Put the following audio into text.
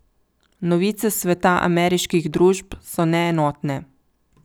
Novice s sveta ameriških družb so neenotne.